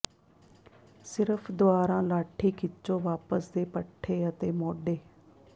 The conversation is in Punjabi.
ਸਿਰਫ ਦੁਆਰਾ ਲਾਠੀ ਖਿੱਚੋ ਵਾਪਸ ਦੇ ਪੱਠੇ ਅਤੇ ਮੋਢੇ